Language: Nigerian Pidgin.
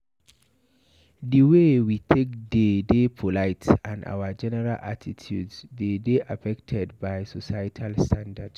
Di wey we take dey de polite and our general attitude dey de affected by societal standards